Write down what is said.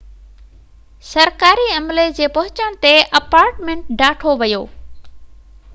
سرڪاري عملي جي پهچڻ تي اپارٽمينٽ ڍاٺو ويو